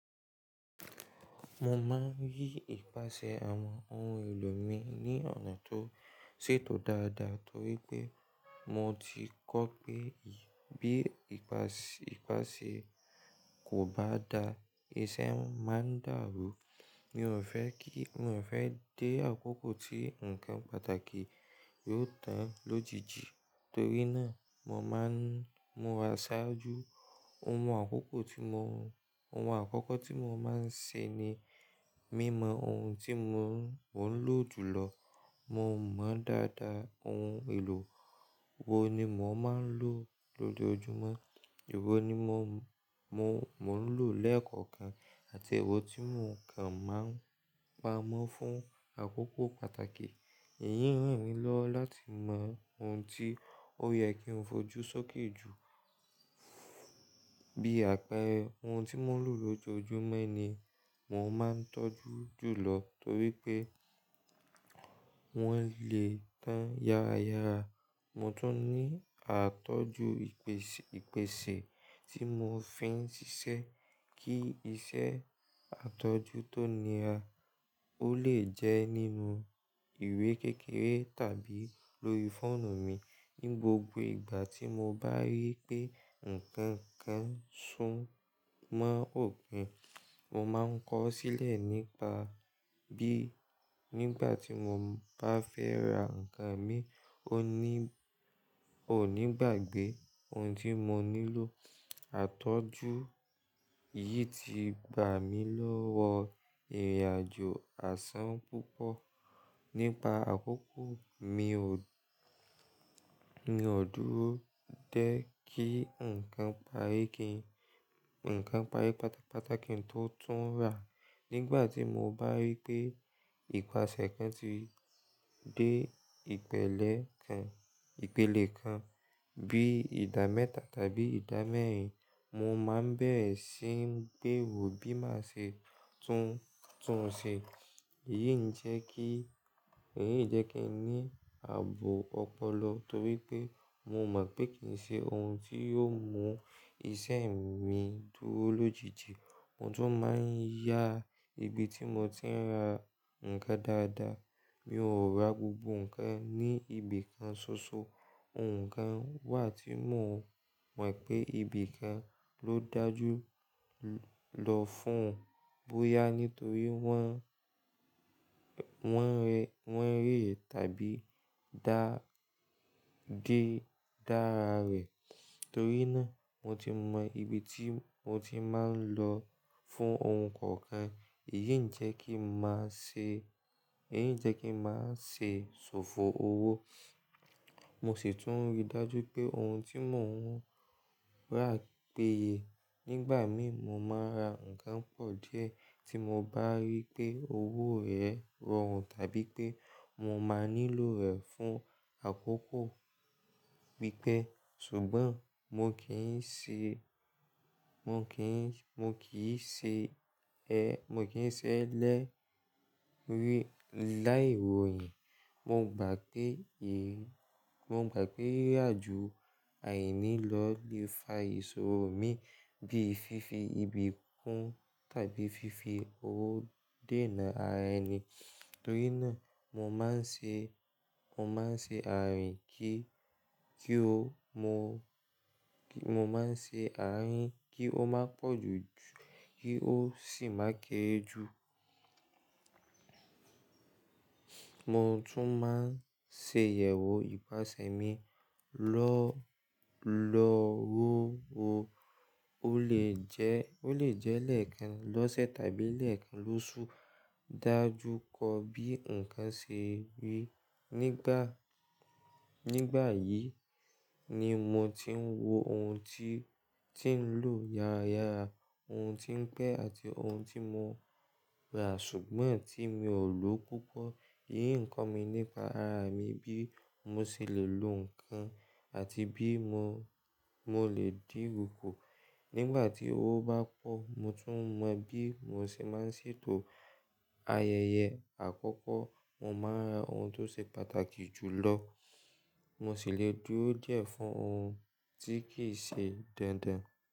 Mo máa ń rí ìpasẹ̀ àwọn ohun èlò mi ní ọ̀nà tó ṣètò dáadáa torí pé mo ti kọ pé bí ìpàsẹ kò bá da, iṣẹ́ máa dàrú. Mi ò fẹ́ dé àkókò tí ǹkan pàtàkì yóò tán lójijì torí náà mo máa ń múra ṣáájú. Ohun àkọ́kọ́ tí mo máa ń ṣe ni mí mọ ohun tí mò ń lò jù lọ. Mo mọ dáadáa ohun èlò wo ni mò ń lò lójojúmọ́, èwo ni mò ń lò lẹ́ẹ̀kọ̀kan àti èwo tí mò ń kàn máa ń pa mọ́ fún àkókò pàtàkì. Ohun àkọ́kọ́ tí mo máa ń ṣe ni mí mọ ohun tí mò ń lò jù lọ. Bí àpẹẹrẹ, ohun tí mò ń lò lójoojúmọ́ ni mò ń máa ń tọ́jú jù lọ torí pé wọ́n lè tán yára yára. Mo tún ní àtọ́jú ìpèsè tí mò ń fi ń ṣiṣẹ́ kí iṣẹ́ àtọ́jú tó níra ó lè jẹ́ nínú ìwé kékeré tàbí lórí fóònù mi. Ní gbogbo ìgbà tí mo bá rí pé ǹkan kan sún mọ́ òpin, mo máa ń kọ ọ́ sílẹ̀ nípa bí nígbà tí mo bá fẹ́ ra ǹkan mi ò ní gbàgbé ohun tí mo nílò. Àtọ́jú yìí ti gbà mí lọ́wọ́ ìrìnàjò àsán púpọ̀. Nípa àkókò mi ò dúró de kí ǹkan parí pátápátá kí n tó tún rà. Nígbà tí mo bá rí pé ìpasẹ̀ kan ti dé ìpele kan bí ìda mẹ́ta tàbí ìda mẹ́rin, mo máa ń bẹ̀rẹ̀ sí ń gbérò bí máa ṣe tún un ṣe. Èyí ń jẹ́ kí n ní ààbò ọpọlọ torí pé mo mọ̀ pé kì í ṣe ohun tí yóò mú iṣẹ́ mi dúró lójijì. Mo tún máa ń yá ibi tí mo ti ń ra ǹkan dáadáa. Mi ò ra gbogbo ǹkan ní ibi kan ṣoṣo. Ǹkan wà tí mo mọ̀ pé ibi kan ló dájú lọ fún boyá nítorí wọ́n rẹ̀ tàbí gé dára rẹ̀. Torí náà mo ti mọ ibi tí mo ti máa ń lọ fún ohun kọ̀ọ̀kan. Èyí ń jẹ́ kí n máa ṣe ṣòfò owó. Mo sì tún rí dájú pé ohun tí mò ń rà péye. Nígbà mìí mo máa ra ǹkan pọ̀ díẹ̀ tí mo bá rí pé owó rẹ̀ rọrùn tàbí pé mo máa nílò rẹ̀ fún àkókò pípẹ́. Ṣùgbọ́n mo kì í ṣe mo kì í mo kì í ṣe ẹ mo kì í ṣe ẹ lẹ́rì láì ròyìn mogbà pé mo gbà pé ìrìnàjò àìnílọ́ọ̀ lè fa ìṣòro mi bíi fífi ibi kún tàbí fífi owó dènà ara ẹni. Torí náà mo máa ń ṣe mo máa ń ṣe àárín kí kí ó mo mo máa ńṣe àárín kí ó má pọ̀jù kí ó sì máa ke rẹ jù. Mo tún máa ń ṣe ìyẹ̀wò ìpasẹ̀ mi lọ́wọ́lọ́wọ́. Ó lè jẹ́ lẹ́ẹ̀kan lọ́sẹ̀ tàbí lẹ́ẹ̀kan lóṣù. Dájú kọ bí ǹkan ṣe rí nígbà. Nígbà yìí ni mo ti ń wo ohun tí ti ń lò yára yára, ohun tí ń pẹ́ àti ohun tí mo rà ṣùgbọ́n tí mi ò lò púpọ̀. Èyí ń kọ́ mi nípa ara mi bí mo ṣe lè lo ǹkan àti bí mo mo lè di ro hò. Nígbà tí owó bá pọ̀, mo tún mọ bí mo ṣe máa ń ṣètò ayẹyẹ àkọ́kọ́. Mo máa ra ohun tó ṣe pàtàkì jù lọ. Mo sì lè dúró díẹ̀ fún ohun tí kì í ṣe dandan.